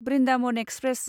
Brindavan express